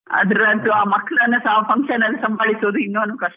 ಅದ್ರಂತೂ ಆ ಮಕ್ಕಳನ್ ಸಹ function ಅಲ್ಲಿ ಸಂಬಾಳಿಸೋದು ಇನ್ನೊಂದ್ ಕಷ್ಟ.